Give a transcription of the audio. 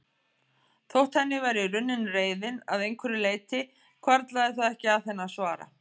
Þótt henni væri runnin reiðin að einhverju leyti hvarflaði það ekki að henni að svara.